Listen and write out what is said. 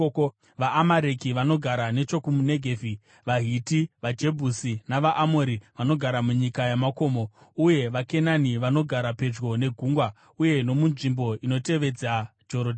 VaAmareki vanogara nechokuNegevhi; vaHiti, vaJebhusi navaAmori vanogara munyika yamakomo; uye vaKenani vanogara pedyo negungwa uye nomunzvimbo inotevedza Jorodhani.”